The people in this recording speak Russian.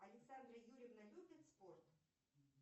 александра юрьевна любит спорт